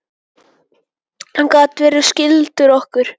Hann gat verið skyldur okkur.